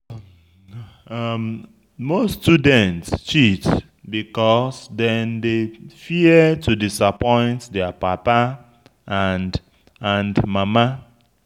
Most student cheat because dem dey fear to disappoint their papa and mama